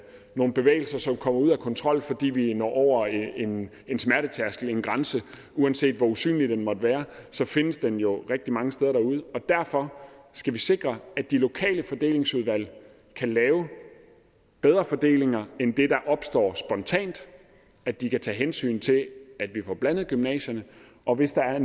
nogle bevægelser som kommer ud af kontrol fordi vi når over en en smertetærskel en grænse uanset hvor usynlig den måtte være findes den jo rigtig mange steder derude og derfor skal vi sikre at de lokale fordelingsudvalg kan lave bedre fordelinger end det der opstår spontant at de kan tage hensyn til at vi får blandet gymnasierne og hvis der er